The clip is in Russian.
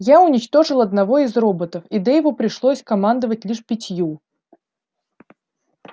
я уничтожил одного из роботов и дейву пришлось командовать лишь пятью